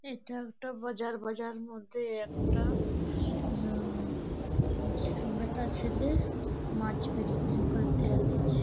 এটা একটা বাজার বাজার মধ্যে একটা হুম বেটা ছেলে মাছ বিক্রি করতে আসিছে |